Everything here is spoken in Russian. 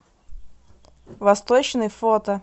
восточный фото